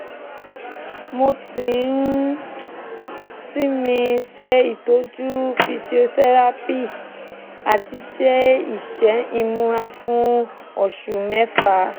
mo ti ń sinmi ṣe itọju physiotherapy àti ṣe iṣẹ́ ìmúra fún oṣù mẹ́fà